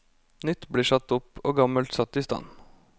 Nytt blir satt opp, og gammelt satt i stand.